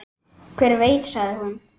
Hver veit, sagði hún.